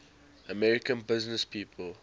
american businesspeople